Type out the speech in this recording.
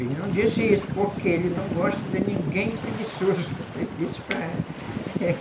E não disse isso porque ele não gosta de ninguém preguiçoso, eu disse para ela.